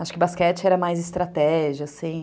Acho que basquete era mais estratégia, assim.